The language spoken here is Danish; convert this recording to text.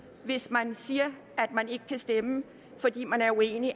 hvis man siger at man ikke kan stemme fordi man er uenig og